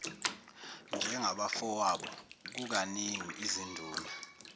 njengabafowabo kukaningi izinduna